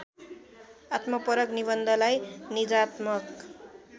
आत्मपरक निबन्धलाई निजात्मक